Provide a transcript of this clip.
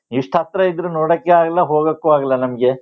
ಇಷ್ಟ್ ಹತ್ರ ಇದ್ರು ನೋಡಕ್ಕೆ ಆಗಲ್ಲಾ ಹೋಗಕ್ಕೂ ಆಗಲ್ಲಾ ನಮ್ಗೆ.